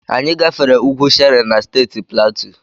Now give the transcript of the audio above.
Anyị gafere ugwu Shere na Steeti Platu.